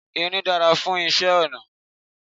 Irin dára fún iṣẹ́ ọnà.